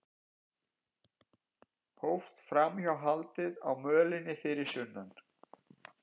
Hófst framhjáhaldið á mölinni fyrir sunnan